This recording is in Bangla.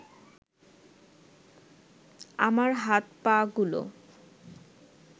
আমার হাত-পাগুলো